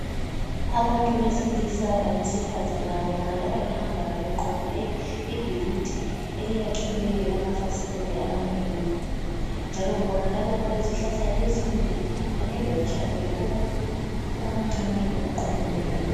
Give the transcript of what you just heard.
Abantu besilisa labesifazana babonakala behamba beqonde ibhilidi eliyakhiweyo elilamafasiteli amanengi, njalo kubonakala kulezihlahla ezinde kanye lotshani obuncane obuqunyiweyo.